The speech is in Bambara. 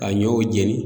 Ka ɲɔw jeni